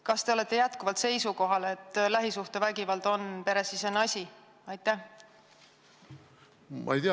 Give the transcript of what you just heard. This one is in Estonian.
Kas te olete jätkuvalt seisukohal, et lähisuhtevägivald on peresisene asi?